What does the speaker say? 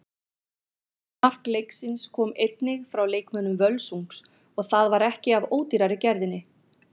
Annað mark leiksins kom einnig frá leikmönnum Völsungs og það var ekki af ódýrari gerðinni.